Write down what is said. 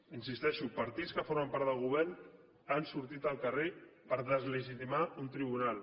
hi insisteixo partits que formen part del govern han sortit al carrer per deslegitimar un tribunal